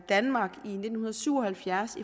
danmark i nitten syv og halvfjerds